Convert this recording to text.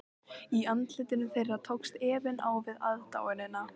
Í andlitum þeirra tókst efinn á við aðdáunina.